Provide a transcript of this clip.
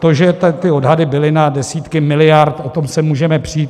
To, že ty odhady byly na desítky miliard, o tom se můžeme přít.